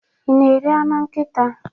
I na-eri anụ nkịta.